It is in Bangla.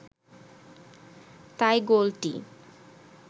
তাই গোলটি